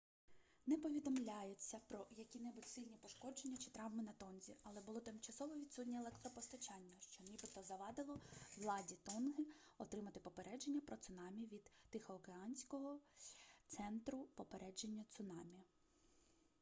не повідомляється про які-небудь сильні пошкодження чи травми на тонзі але було тимчасово відсутнє електропостачання що нібито завадило владі тонги отримати попередження про цунамі від тихооканського центру попередження цунамі